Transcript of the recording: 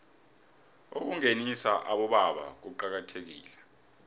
ukungenisa abobaba kuqakathekile